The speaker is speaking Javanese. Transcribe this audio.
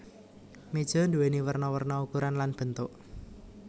Méja nduwèni werna werna ukuran lan bentuk